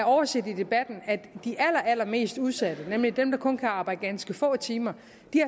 overset i debatten at de allermest udsatte nemlig dem der kun kan arbejde ganske få timer